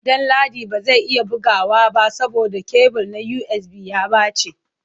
Danladi ba zai iya bugawa ba saboda kebul na USB ya ɓace.